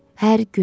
Hər gün.